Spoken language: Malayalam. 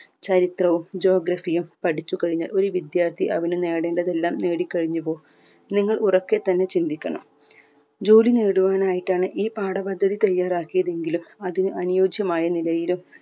ചരിത്രവും geography യും പഠിച്ചു കഴിഞ്ഞാൽ ഒരു വിദ്യാർത്ഥി അവന് നേടേണ്ടതെല്ലാം നേടിക്കഴിഞ്ഞുവോ നിങ്ങൾ ഉറക്കെ തന്നെ ചിന്തിക്കണം ജോലി നേടുവാനായിട്ടാണ് ഈ പാഠപദ്ധതി തയ്യാറാക്കിയതെങ്കിലും അത് അനുയോജ്യമായ നിലയിലും